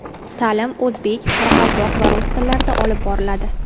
Ta’lim o‘zbek, qoraqalpoq va rus tillarida olib boriladi.